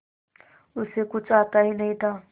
उसे कुछ आता ही नहीं था